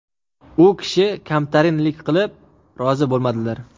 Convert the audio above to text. U kishi kamtarinlik qilib rozi bo‘lmadilar.